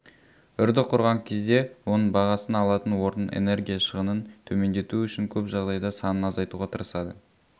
үрді құрған кезде оның бағасын алатын орнын энергия шығынын төмендету үшін көп жағдайда санын азайтуға тырысады